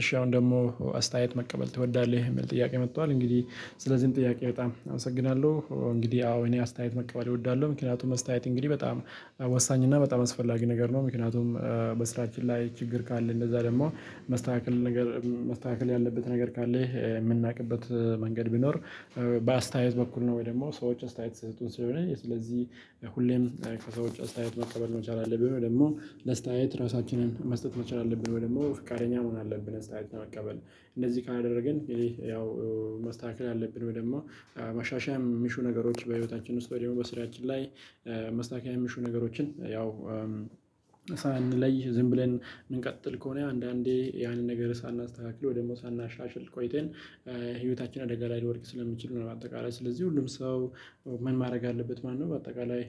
እሺ አሁን ደግሞ አስተያየት መቀበል ትወዳለህ? የሚል ጥያቄ መጥቷል። እንግዲህ ስለዚህም ጥያቄ በጣም አመሰግናለሁ እንግዲህ አዎ እኔ አስተያየት መቀበል እወዳለሁ። ምክንያቱም አስተያየት እንግዲህ በጣም ወሳኝ እና በጣም አስፈላጊ ነገር ነው። ምክንያቱም በስራችን ላይ ችግር ካለ እንደዛ ደግሞ መስተካከል ነገር መስተካከል ያለበት ነገር ካለህ የምናውቅበት መንገድ ቢኖር በአስተያየት በኩል ነው። ወይ ደግሞ ሰዎች አስተያየት ሲሰጡን ስለሆነ ስለዚህ ሁሌም ከሰዎች አስተያየት መቀበል መቻል አለብን። ደግሞ ለስተያየት ራሳችንን መስጠት መቻል አለብን። ወይ ደሞ ፈቃደኛ መሆን አለብን። አስተያየት መቀበል እንደዚህ ካላደረግን ይሄ ያው መስተካከል አለብን። ወይ ደሞ ማሻሻያ የሚሹ ነገሮች በህይወታችን ውስጥ ወዲያው በስራያችን ላይ ማስተከካያ የሚሹ ነገሮችን ያው ሳንለይ ዝም ብለን እንቀጥል ከሆነ አንዳንዴ ያንን ነገር ሳናስተካክል ወይ ደግሞ ሳናሻሽል ቆይተን ህይወታችን አደጋ ላይ ልወድቅ ስለምችል ነው። አጠቃላይ ስለዚህ ሁሉም ሰው ምን ማድረግ አለበት ማለት ነው። በአጠቃላይ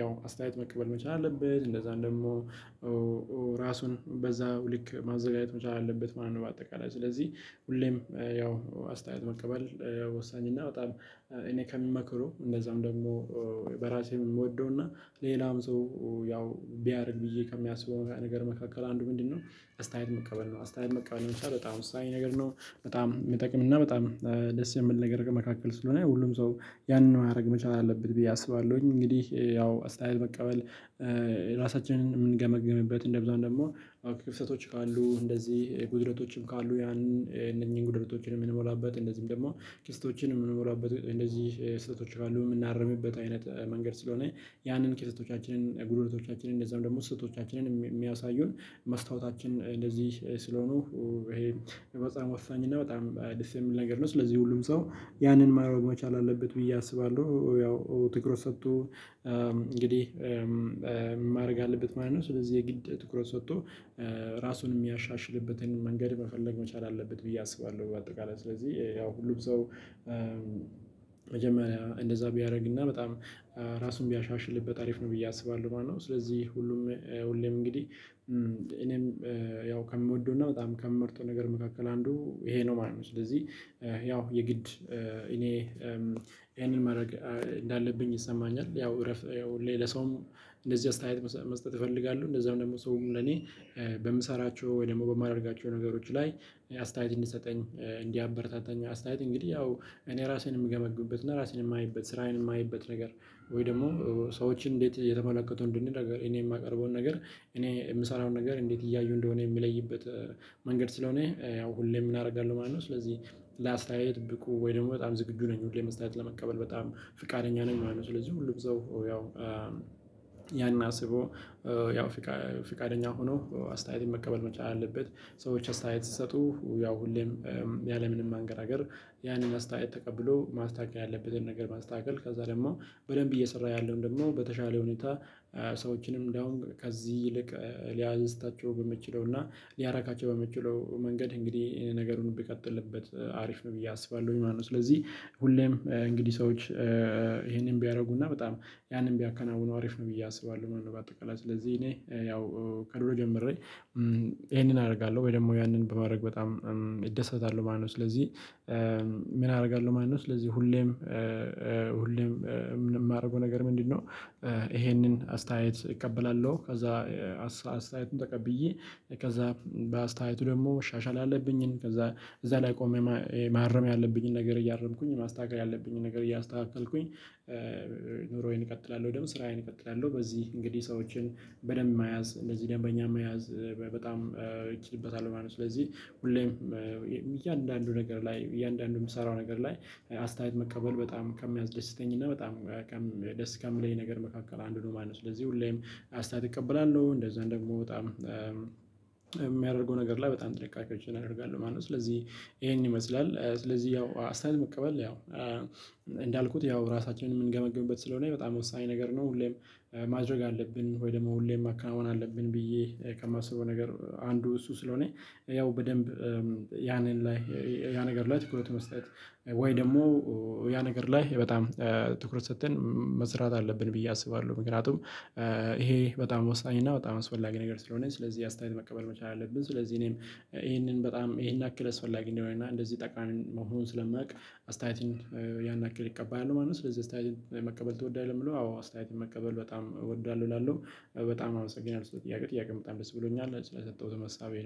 ያው አስተያየት መቀበል መቻል አለበት። እንደዛ ደሞ ራሱን በዛው ልክ ማዘጋጀት መቻል አለበት ማለት ነው። በአጠቃላይ ስለዚህ ሁሌም ያው አስተያየት መቀበል ወሳኝ እና በጣም እኔ ከሚመክሩ እንደዛውም ደግሞ በራሴ እምወደው እና ሌላም ሰው ያው ቢያደርግ ብዬ ከሚያስበው ነገር መካከል አንዱ ምንድነው አስተያየት መቀበል ነው። አስተያየት መቀበል ነው። የምትችለው በጣም ወሳይ ነገር ነው። በጣም የሚጠቅም እና በጣም ደስ የምል ነገር መካከል ስለሆነ ሁሉም ሰው ያንን ማድረግ መቻል አለብት ብዬ አስባለሁኝ። እንግዲህ ያው አስተያየት መቀበል ራሳችንን የምንገመግምበት እንደብዛው ደግሞ ክፍተቶች ካሉ እንደዚህ ጉድለቶችም ካሉ ያን እነኚህን ጉዳዮችን የምንሞላበት እንደዚህም ደግሞ ክፍተቶችን የምንሞላበት እንደዚህ ስህተቶች አሉ የምናርምበት አይነት መንገድ ስለሆነ ያንን ክፍተቶቻችንን ጉድለቶቻችንን እንደዛም ደግሞ ስህተቶቻችንን የሚያሳዩን መስታወታችን እንደዚህ ስለሆኑ በጣም ወሳኝ እና በጣም ደስ የሚል ነገር ነው። ስለዚህ ሁሉም ሰው ያንን ማረግ መቻል አለበት ብዬ አስባለሁ። ያው ትኩረት ሰጥቶ እንግዲህ ማድረግ አለበት ማለት ነው። ስለዚህ የግድ ትኩረት ሰጥቶ ራሱን የሚያሻሽልበትን መንገድ መፈለግ መቻል አለበት ብዬ አስባለሁ። በአጠቃላይ ስለዚህ ያው ሁሉም ሰው መጀመሪያ እንደዛ ቢያደርግና በጣም ራሱን ቢያሻሽልበት አሪፍ ነው ብዬ አስባለሁ ማለት ነው። ስለዚህ ሁሉም ሁሌም እንግዲህ እኔም ያው ከምወደው እና በጣም ከምመርጠው ነገር መካከል አንዱ ይሄ ነው ማለት ነው። ስለዚህ ያው የግድ እኔ ይሄንን ማረግ እንዳለብኝ ይሰማኛል። ያው እረፍ ያው ሌላ ሰውም እንደዚህ አስተያየት መስጠት እፈልጋሉሁ። እንደዛም ደግሞ ሰውም ለኔ በምሰራቸው ወይ ደግሞ በማደርጋቸው ነገሮች ላይ አስተያየት እንዲሰጠኝ እንዲበረታታኝ አስተያየት እንግዲህ ያው እኔ ራሴን የምገመግምበት እና ራሴን የማየበት ስራዬን የማየበት ነገር ወይ ደግሞ ሰዎችን እንዴት የተመለከቱ እንደነገር እኔ የማቀርበውን ነገር እኔ የምሰራውን ነገር እንዴት እያዩ እንደሆነ የሚለይበት መንገድ ስለሆነ ያው ሁሌም ምን አረጋለሁ ማለት ነው። ስለዚህ ለአስተያየት ብቁ ወይ ደግሞ በጣም ዝግጁ ነኝ ሁሌ አስታያየት ለመቀበል በጣም ፍቃደኛ ነኝ ማለት ነው። ስለዚህ ሁሉም ሰው ያው ያን አስቦ ያው ፍቃደኛ ሆኖ አስተያየት መቀበል መቻል አለበት። ሰዎች አስተያየት ሲሰጡ ያው ሁሌም ያለምንም ማንገራገር ያንን አስተያየት ተቀብሎ ማስተካከል ያለበትን ነገር ማስተካከል ከዛ ደግሞ በደንብ እየሰራ ያለውን ደግሞ በተሻለ ሁኔታ ሰዎችንም እንደውም ከዚህ ይልቅ ሊያዝታቸው በመችለው እና ሊያራካቸው በመችለው መንገድ እንግዲህ ነገሩን ቢቀጥልበት አሪፍ ነው ብዬ አስባለሁኝ ማለት ነው። ስለዚህ ሁሌም እንግዲህ ሰዎች ይሄንን ቢያደርጉና በጣም ያንን ቢያከናውኑ አሪፍ ነው ብዬ አስባለሁ ማለት ነው። በአጠቃላይ ስለዚህ እኔ ያው ከድሮ ጀምሬ ይሄንን አደርጋለሁ ወይ ደግሞ ያንን በማድረግ በጣም እደሰታለሁ ማለት ነው። ስለዚህ ምን አደርጋለሁ ማለት ነው። ስለዚህ ሁሌም ሁሌም የማደርገው ነገር ምንድነው? ይሄንን አስተያየት እቀበላለሁ። ከዛ አስተያየቱን ተቀብዬ ከዛ በአስተያየቱ ደግሞ መሻሻል ያአለብኝን ከዛ እዛ ላይ ቆሜ ማረም ያለብኝን ነገር እያረምኩኝ ማስተካከል ያለብኝን ነገር እያስተካከልኩኝ ኑሮዬን እቀጥላለሁ። ደግሞ ስራዬን እቀጥላለሁ በዚህ እንግዲህ ሰዎችን በደንብ መያዝ እንደዚህ ደንበኛ መያዝ በጣም እችልበታለሁ ማለት ነው። ስለዚህ ሁሌም እያንዳንዱ ነገር ላይ እያንዳንዱ የምሰራው ነገር ላይ አስተያየት መቀበል በጣም ከሚያስደስተኝ እና በጣም ደስ ከሚለኝ ነገር መካከል አንዱ ነው ማለት ነው። ስለዚህ ሁሌም አስተያየት እቀበላለሁ እንደዛ ደግሞ በጣም የሚያደርገው ነገር ላይ በጣም ጥንቃቄ አድርጋለሁ ማለት ነው። ስለዚህ ይሄን ይመስላል። ስለዚህ ያው አስተያየት መቀበል ያው እንዳልኩት ያው ራሳችንን የምንገመግምበት ስለሆነ በጣም ወሳኝ ነገር ነው። ሁሌም ማድረግ አለብን ወይ ደግሞ ሁሌም ማካናወን አለብን። ብዬ ከማስበው ነገር አንዱ እሱ ስለሆነ ያው በደንብ ያንን ላይ ያ ነገር ላይ ትኩረት መስጠት ወይ ደግሞ ያ ነገር ላይ በጣም ትኩረት ሰጥተን መስራት አለብን ብዬ አስባለሁ። ምክንያቱም ይሄ በጣም ወሳኝ እና በጣም አስፈላጊ ነገር ስለሆነ ስለዚህ አስተያየት መቀበል መቻል አለብን። ስለዚህ እኔም ይሄንን በጣም ይሄን ያክል አስፈላጊ እንደሆነ እና እንደዚህ ጠቃሚ መሆኑን ስለማውቅ አስተያየትን ያን ያክል እቀበላለሁ ማለት ነው። ስለዚህ አስተያየት መቀበል ትወዳለህ? ለሚለው አዎ አስተያየት መቀበል በጣም እወደዋለሁ እላለሁ። በጣም አመሰግናለሁ ሰው ጥያቄ ጥያቄ በጣም ደስ ብሎኛል ስለሰጠሁት መሳቢያ